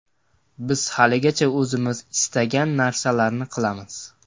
Biz haligacha o‘zimiz istagan narsalarni qilamiz.